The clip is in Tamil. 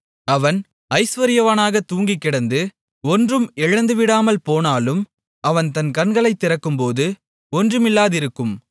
அவன் ஐசுவரியவானாகத் தூங்கிக் கிடந்து ஒன்றும் இழந்துவிடாமல் போனாலும் அவன் தன் கண்களைத் திறக்கும்போது ஒன்றுமில்லாதிருக்கும்